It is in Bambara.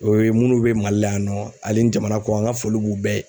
O ye minnu bɛ MALI la yan nɔ ani jamana kɔ kan n ka foli b'u bɛɛ ye.